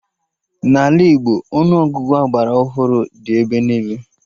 N'ala Igbo, Ọnụ Ọgụgụ agbara ọhụrụ dị ebe niile ugbua